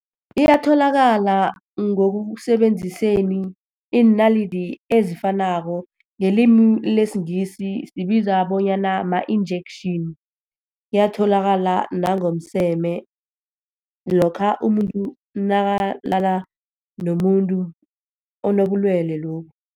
Iyatholakala ngokusebenziseni iinalidi ezifanako. Ngelimi lesiNgisi zibizwa bonyana ma-injection. Iyatholakala nangomseme, lokha umuntu nakalala nomuntu onobulwele lobu.